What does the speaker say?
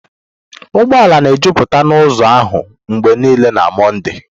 ụgbọala na ejuputakari n'uzọ ahụ mgbe niile na Mọnde.